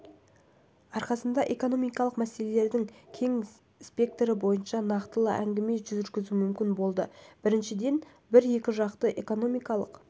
арқасында экономикалық мәселелердің кең спектрі бойынша нақтылы әңгіме жүргізу мүмкін болды біріншіден біз екіжақты экономикалық